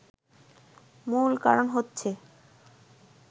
মূল কারণ হচ্ছে